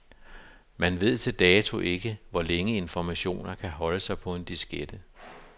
Man ved til dato ikke, hvor længe informationer kan holde sig på en diskette.